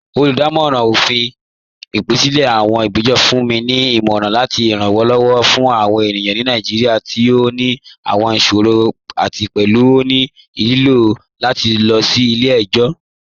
Olúdàmọ̀ran ọ̀fin, gẹgẹbi awọn agbẹ́jọ́rọ̀, fún ni ní ìmọ̀ran àti ìrànlowọ̀ fún awọn ènìyàn ni Naijíríà tí ó ní àwọn ìṣòrọ̀ àti pẹ̀lú ó ní ilò lati lọ sí ilẹ̀-ẹ̀jọ̀.